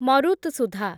ମରୁତ୍‌ସୁଧା